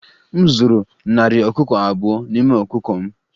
M zụrụ narị ọkụkọ abụọ n'ime ọkụkọ m